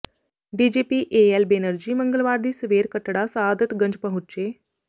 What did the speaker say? DGP AL Banerjee ਮੰਗਲਵਾਰ ਦੀ ਸਵੇਰ ਕੱਟੜਾ ਸਆਦਤਗੰਜ ਪਹੁੰਚੇ